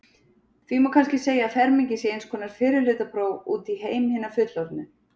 Því má kannski segja að fermingin sé eins konar fyrrihlutapróf út í heim hinna fullorðnu.